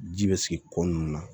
Ji bɛ sigi ko nun na